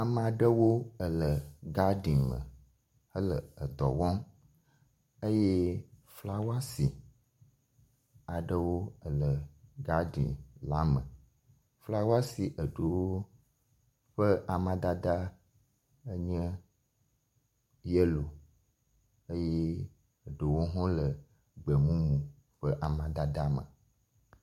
Ame aɖewo ele gadeni me hele edɔ wɔm eye flawasi aɖewo ele gadeni la me. Flawasi eɖewo ƒe amadede enye yelo eye ɖewo hã le gbɔmumu ƒe amadede me.